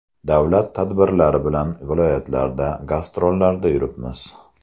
Davlat tadbirlari bilan viloyatlarda gastrollarda yuribmiz.